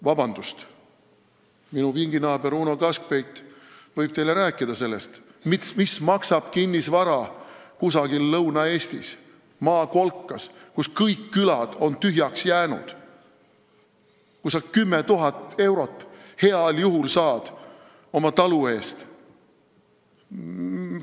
Vabandust, minu pinginaaber Uno Kaskpeit võib teile rääkida sellest, mis maksab kinnisvara kusagil Lõuna-Eestis maakolkas, kus kõik külad on tühjaks jäänud, kus sa heal juhul saad oma talu eest 10 000 eurot.